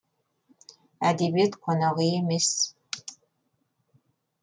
әдебиет қонақ үй емес